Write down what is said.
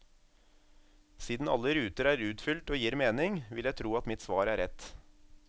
Siden alle ruter er utfylt og gir mening, vil jeg tro at mitt svar er rett.